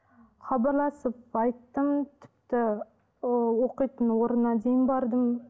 хабарласып айттым тіпті ы оқитын орнына дейін бардым